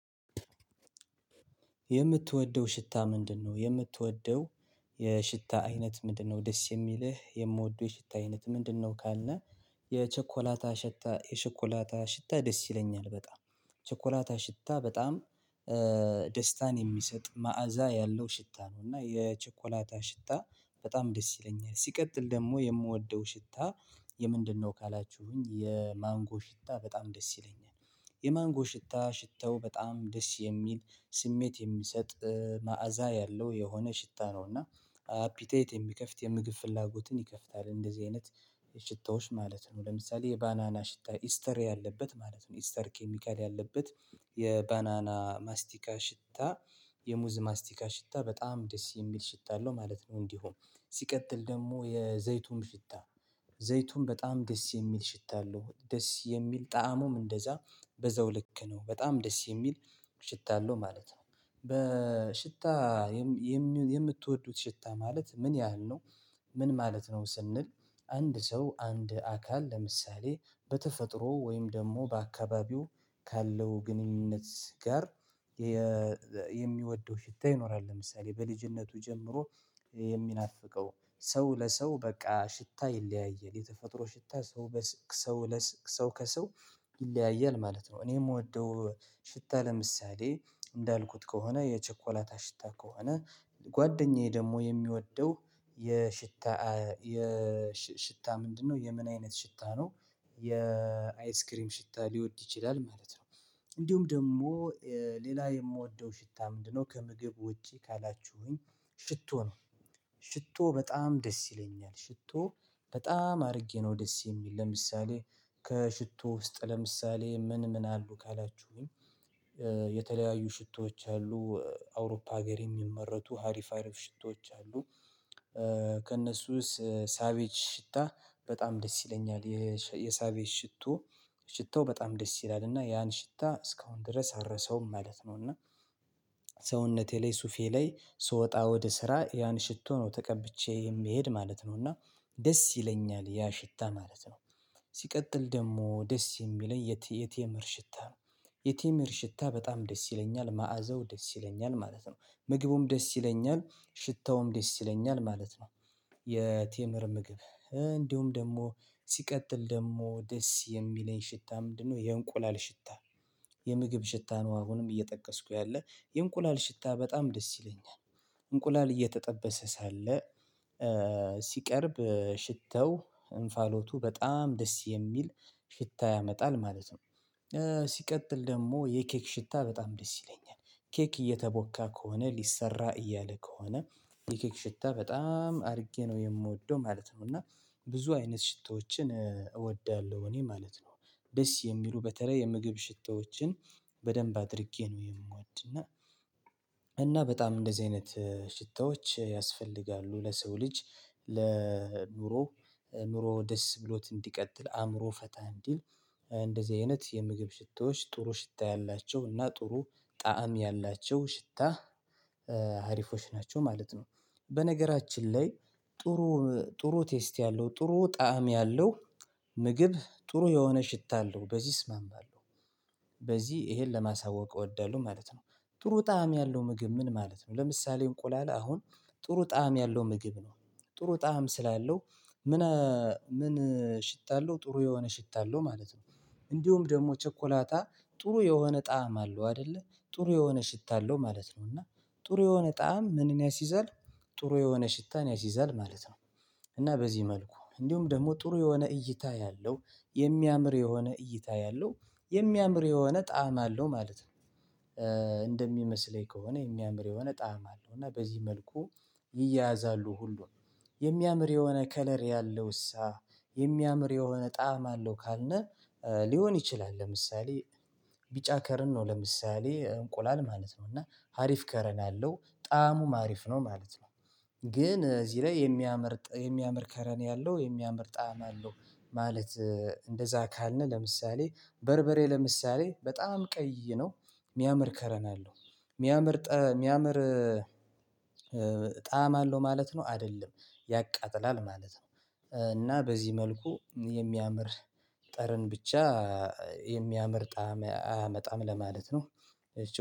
የምትወደው ሽታ ምንድነው የምትወደው የሽታ አይነት ምንድነው? ደስ የሚልህ የምወደው የሽታ አይነት ምንድነው ካልነህ የቸኮላታ ሽታ የቸኮላታ ሽታ ደስ ይለኛል በጣም ቸኮላታ ሽታ በጣም ደስታን የሚሰጥ መዓዛ ያለው ሽታ ነው። እና የቸኮላታ ሽታ በጣም ደስ ይለኛል ሲቀጥል ደግሞ የምወደው ሽታ ምንድነው ካላችሁኝ የማንጎ ሽታ በጣም ደስ ይለኛል። የማንጎ ሽታ ሽተው በጣም ደስ የሚል ስሜት የሚሰጥ መዓዛ ያለው የሆነ ሽታ ነው እና ፒቴት የሚከፍት የምግብ ፍላጎትን ይከፍታል እንደዚህ አይነት ሽታዎች ማለት ነው። ለምሳሌ የባናና ሽታ ኢስተር ያለበት ማለት ነው። ኢስተር ኬሚካል ያለበት የባናና ማስቲካ ሽታ የሙዝ ማስቲካ ሽታ በጣም ደስ የሚል ሽታ አለው ማለት ነው። እንዲሁ ሲቀጥል ደግሞ የዘይቱን ሽታ ዘይቱን በጣም ደስ የሚል ሽታ አለው ደስ የሚል ጣእሙም እንደዛ በዛው ልክ ነው በጣም ደስ የሚል ሽታ አለው ማለት ነው። በሽታ የምትወዱት ሽታ ማለት ምን ያህል ነው? ምን ማለት ነው ስንል አንድ ሰው አንድ አካል ለምሳሌ በተፈጥሮ ወይም ደግሞ በአካባቢው ካለው ግንኙነት ጋር የሚወደው ሽታ ይኖራል ለምሳሌ በልጅነቱ ጀምሮ የሚናፍቀው ሰው ለሰው በቃ ሽታ ይለያያል የተፈጥሮ ሽታ ሰው ሰው ለስ ሰው ከሰው ይለያያል ማለት ነው። እኔ የምወደው ሽታ ለምሳሌ እንዳልኩት ከሆነ የቸኮላታ ሽታ ከሆነ ጓደኛዬ ደግሞ የሚወደው የሽታ የሽታ ምንድነው የምን አይነት ሽታ ነው። የአይስክሪም ሽታ ሊወድ ይችላል ማለት ነው። እንዲሁም ደግሞ ሌላ የምወደው ሽታ ምንድነው ከምግብ ውጪ ካላችሁኝ ሽቶ ነው። ሽቶ በጣም ደስ ይለኛል ሽቶ በጣም አድርጌ ነው ደስ የሚል ለምሳሌ ከሽቶ ውስጥ ለምሳሌ ምን ምን አሉ ካላችሁኝ? የተለያዩ ሽቶዎች አሉ። አውሮፓ ሀገር የሚመረቱ አሪፍ አሪፍ ሽቶዎች አሉ። ከእነሱስ ሳቬጅ ሽታ በጣም ደስ ይለኛል የሳቬጅ ሽቶ ሽቶ በጣም ደስ ይላል እና ያን ሽታ እስካሁን ድረስ አረሰውም ማለት ነው። እና ሰውነቴ ላይ ሱፌ ላይ ስወጣ ወደ ስራ ያን ሽቶ ነው ተቀብቼ የምሄድ ማለት ነው። እና ደስ ይለኛል ያ ሽታ ማለት ነው። ሲቀጥል ደግሞ ደስ የሚለኝ የቴምር ሽታ ነው። የቴምር ሽታ በጣም ደስ ይለኛል ማዕዘው ደስ ይለኛል ማለት ነው ምግቡም ደስ ይለኛል ሽታውም ደስ ይለኛል ማለት ነው። የቴምር ምግብ እንዲሁም ደግሞ ሲቀጥል ደግሞ ደስ የሚለኝ ሽታ ምንድነው የእንቁላል ሽታ። የምግብ ሽታ ነው አሁንም እየጠቀስኩ ያለ የእንቁላል ሽታ በጣም ደስ ይለኛል። እንቁላል እየተጠበሰ ሳለ ሲቀርብ ሽተው እንፋሎቱ በጣም ደስ የሚል ሽታ ያመጣል ማለት ነው። ሲቀጥል ደግሞ የኬክ ሽታ በጣም ደስ ይለኛል ኬክ እየተቦካ ከሆነ ሊሰራ እያለ ከሆነ የኬክ ሽታ በጣም አድርጌ ነው የምወደው ማለት ነው። እና ብዙ አይነት ሽቶዎችን እወዳለሁ እኔ ማለት ነው ደስ የሚሉ በተለይ የምግብ ሽታዎችን በደንብ አድርጌ ነው የምወድ እና። እና በጣም እንደዚህ አይነት ሽታዎች ያስፈልጋሉ ለሰው ልጅ ለኑሮ ኑሮ ደስ ብሎት እንዲቀጥል አእምሮ ፈታ እንዲል። እንደዚህ አይነት የምግብ ሽታዎች ጥሩ ሽታ ያላቸው እና ጥሩ ጣዕም ያላቸው ሽታ አሪፎች ናቸው ማለት ነው። በነገራችን ላይ ጥሩ ጥሩ ቴስት ያለው ጥሩ ጣዕም ያለው ምግብ ጥሩ የሆነ ሽታ አለው በዚህ እስማማለሁ። ይሄን ለማሳወቅ እወዳለሁ ማለት ነው። ጥሩ ጣዕም ያለው ምግብ ምን ማለት ነው? ለምሳሌ እንቁላል አሁን ጥሩ ጣዕም ያለው ምግብ ነው። ጥሩ ጣዕም ስላለው ምን ምን ሽታ አለው ጥሩ የሆነ ሽታ አለው ማለት ነው። እንዲሁም ደግሞ ቸኮላታ ጥሩ የሆነ ጣዕም አለው አይደለ ጥሩ የሆነ ሽታለው አለው ማለት ነው። እና ጥሩ የሆነ ጣዕም ምንን ያሲዛል ጥሩ የሆነ ሽታን ያሲዛል ማለት ነው። እና በዚህ መልኩ እንዲሁም ደግሞ ጥሩ የሆነ እይታ ያለው የሚያምር የሆነ እይታ ያለው የሚያምር የሆነ ጣዕም አለው ማለት ነው። እንደሚመስለኝ ከሆነ የሚያምር የሆነ ጣዕም አለው እና በዚህ መልኩ ይያያዛሉ ሁሉ የሚያምር የሆነ ከለር ያለው እሳ የሚያምር የሆነ ጣዕም አለው ካልነ ሊሆን ይችላል። ለምሳሌ ቢጫ ጠረን ነው ለምሳሌ እንቁላል ማለት ነው እና ሀሪፍ ጠረን ያለው ጣዕሙ አሪፍ ነው ማለት ነው። ግን እዚህ ላይ የሚያምር የሚያምር ጠረን ያለው የሚያምር ጣዕም አለው። ማለት እንደዛ ካልነ ለምሳሌ በርበሬ ለምሳሌ በጣም ቀይ ነው። የሚያምር ጠረን አለው። የሚያምር የሚያምር ጣዕም አለው ማለት ነው አይደለም ያቃጥላል ማለት ነው። እና በዚህ መልኩ የሚያምር ጠረን ብቻ የሚያምር ጣዕም አያመጣም ለማለት ነው።